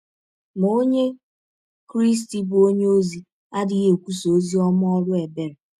Ma ọnye Krịsti bụ́ ọnye ọzi adịghị ekwụsa ọzi ọma ọrụ ebere.